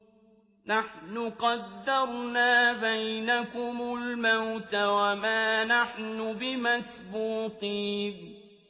نَحْنُ قَدَّرْنَا بَيْنَكُمُ الْمَوْتَ وَمَا نَحْنُ بِمَسْبُوقِينَ